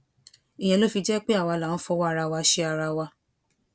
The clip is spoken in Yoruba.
ìyẹn ló fi jẹ pé àwa là ń fọwọ ara wa ṣe ara wa